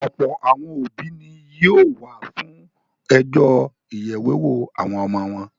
Ọ̀pọ̀ àwọn òbí ni yóò wà fún ọjọ́ ìyèwéwó àwọn ọmọ wọn.